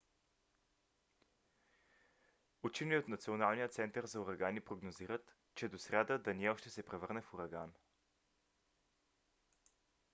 учени от националния център за урагани прогнозират че до сряда даниел ще се превърне в ураган